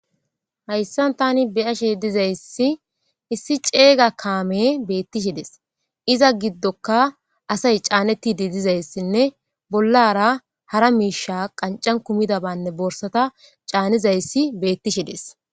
Hayssan tani beyashe dizayssi issi ceeyga kaame beettishides iza giddoka asay caanettidi dizayssinne bollara hara miisha qancan kumida banne boorsata caanizayssi beettishi des.